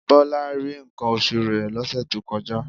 Bọlá rí nǹkan oṣù rẹ̀ lọ́sẹ̀ tó kọjá